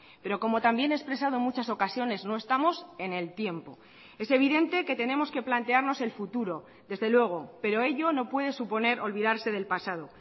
pero como también he expresado en muchas ocasiones no estamos en el tiempo es evidente que tenemos que plantearnos el futuro desde luego pero ello no puede suponer olvidarse del pasado